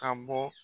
Ka bɔ